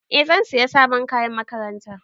Eh zan siya sabon kayan makaranta.